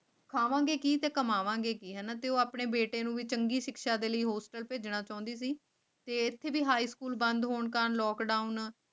ਖਾਵਾਂਗੇ ਕੀਤੇ ਕਮਾਵਾਂਗੇ ਕੇ ਹਨ ਅਤੇ ਉਹ ਆਪਣੇ ਬੇਟੇ ਨੂੰ ਵੀ ਚੰਗੀ ਸਿੱਖਿਆ ਦੇ ਲਈ ਭੇਜਣਾ ਚਾਹੁੰਦੀ ਤੇ ਤਰਿਹਾਏ ਭੁੱਲ ਬੰਦ ਹੋਣ ਕਾਰਨ ਤਾਲਾਬੰਦੀ